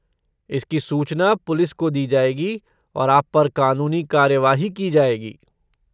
इसकी सूचना पुलिस को दी जाएगी और आप पर कानूनी कार्यवाही की जाएगी।